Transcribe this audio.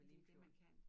Det jo det man kan